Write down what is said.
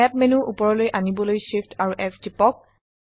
snap menu উপৰলৈ আনিবলৈ Shift এএমপি S টিপক